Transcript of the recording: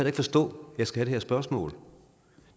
ikke forstå at jeg skal have det her spørgsmål